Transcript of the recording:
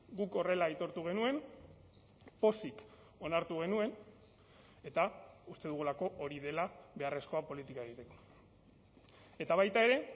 guk horrela aitortu genuen pozik onartu genuen eta uste dugulako hori dela beharrezkoa politika egiteko eta baita ere